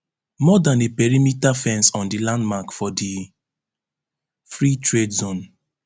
more dan a perimeter fence on di land mark for di free trade zone